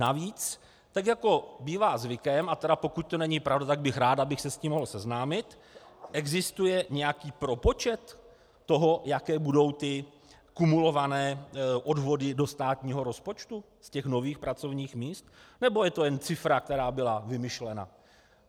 Navíc, tak jako bývá zvykem, a tedy pokud to není pravda, tak bych rád, abych se s tím mohl seznámit, existuje nějaký propočet toho, jaké budou ty kumulované odvody do státního rozpočtu z těch nových pracovních míst, nebo je to jen cifra, která byla vymyšlena?